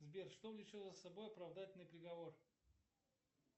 сбер что влечет за собой оправдательный приговор